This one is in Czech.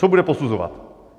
Co bude posuzovat.